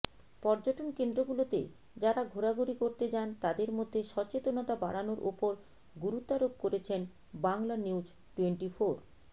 পর্যটন কেন্দ্রগুলোতে যারা ঘোরাঘুরি করতে যান তাদের মধ্যে সচেতনতা বাড়ানোর ওপর গুরুত্বারোপ করেছেন বাংলানিউজটোয়েন্টিফোর